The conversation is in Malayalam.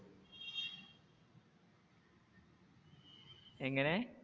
എങ്ങനെ?